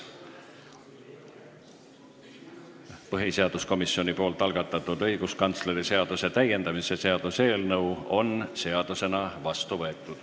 Põhiseaduskomisjoni algatatud õiguskantsleri seaduse täiendamise seaduse eelnõu on seadusena vastu võetud.